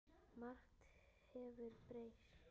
Margt hefur breyst.